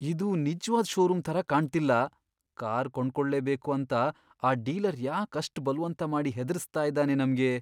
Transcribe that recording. ಇದು ನಿಜ್ವಾದ್ ಷೋರೂಮ್ ಥರ ಕಾಣ್ತಿಲ್ಲ. ಕಾರ್ ಕೊಂಡ್ಕೊಳ್ಳೇಬೇಕು ಅಂತ ಆ ಡೀಲರ್ ಯಾಕ್ ಅಷ್ಟ್ ಬಲ್ವಂತ ಮಾಡಿ ಹೆದ್ರಿಸ್ತಾ ಇದಾನೆ ನಮ್ಗೆ?!